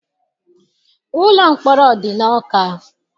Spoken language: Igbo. Ụlọ mkpọrọ dị n'Ọka.